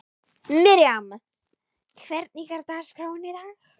Miriam, hvernig er dagskráin í dag?